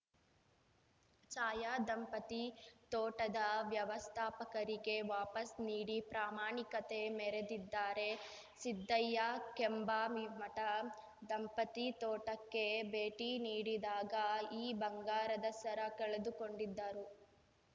ಛಾಯಾ ದಂಪತಿ ತೋಟದ ವ್ಯವಸ್ಥಾಪಕರಿಗೆ ವಾಪಸ್‌ ನೀಡಿ ಪ್ರಾಮಾಣಿಕತೆ ಮೆರೆದಿದ್ದಾರೆ ಸಿದ್ದಯ್ಯ ಕೆಂಭಾವಿಮಠ ದಂಪತಿ ತೋಟಕ್ಕೆ ಭೇಟಿ ನೀಡಿದಾಗ ಈ ಬಂಗಾರದ ಸರ ಕಳೆದುಕೊಂಡಿದ್ದರು